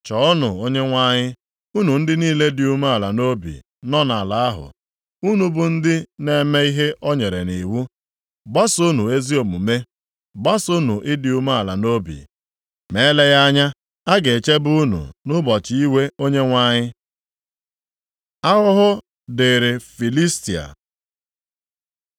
Chọọnụ Onyenwe anyị, unu ndị niile dị umeala nʼobi nọ nʼala ahụ, unu bụ ndị na-eme ihe o nyere nʼiwu. Gbasoonụ ezi omume, gbasoonụ ịdị umeala nʼobi, ma eleghị anya, a ga-echebe unu nʼụbọchị iwe Onyenwe anyị. Ahụhụ dịrị Filistia